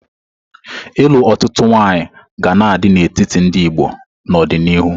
Ịlụ otutu nwaanyị ga na-adị n'etiti ndị Igbo n'ọdịnihu.